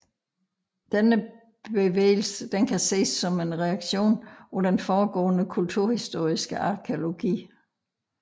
Denne bevægelse kan ses som en reaktion på den foregående kulturhistoriske arkæologi